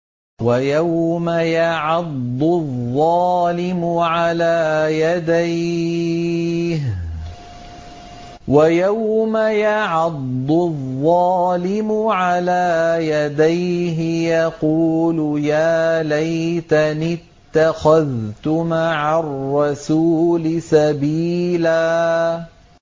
وَيَوْمَ يَعَضُّ الظَّالِمُ عَلَىٰ يَدَيْهِ يَقُولُ يَا لَيْتَنِي اتَّخَذْتُ مَعَ الرَّسُولِ سَبِيلًا